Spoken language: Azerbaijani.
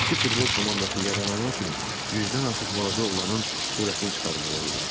Ki futbol komandası yaranana kimi yüzdən artıq balaca oğlanın sürətini çıxarmalı oldular.